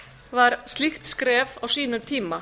var slíkt skref á sínum tíma